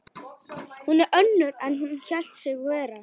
Hún er önnur en hún hélt sig vera.